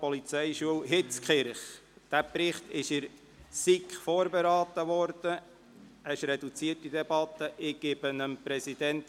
der SiK. Ich versuche, Ihnen diesen Jahresbericht in kurzen Zügen zu erläutern.